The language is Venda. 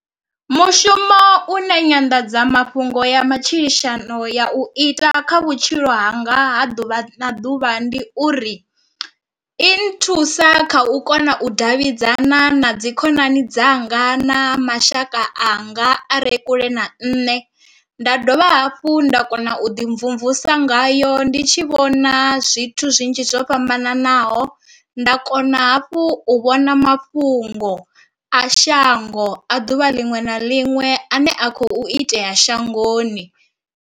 Mushumo une nyanḓadzamafhungo ya matshilisano ya u ita kha vhutshilo hanga ha ḓuvha na ḓuvha ndi uri i nthusa kha u kona u davhidzana na dzi khonani dzanga na mashaka anga are kule na nṋe, nda dovha hafhu nda kona u ḓi mvumvusa ngayo ndi tshi vhona zwithu zwinzhi zwo fhambananaho. Nda kona hafhu u vhona mafhungo a shango a ḓuvha liṅwe na liṅwe ane a khou itea shangoni.